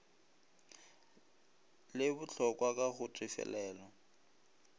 le botlhokwa ka go tefelelo